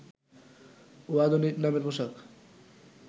ও আধুনিক মানের পোশাক